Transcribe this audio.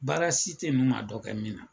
Baara si teye n'u ma dɔ kɛ min na